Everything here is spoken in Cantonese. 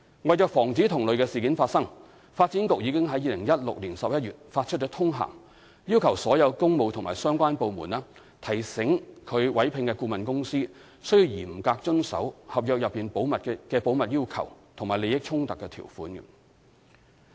為防止同類事件發生，發展局已於2016年11月發出通函，要求所有工務及相關部門提醒其委聘的顧問公司須嚴格遵守合約內的保密要求和利益衝突條款。